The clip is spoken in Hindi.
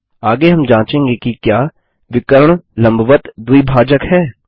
आगे हम जाँचेंगे कि क्या विकर्ण लम्बवत्त द्विभाजक हैं